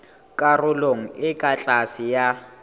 karolong e ka tlase ya